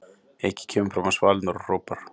Eiki kemur fram á svalirnar og hrópar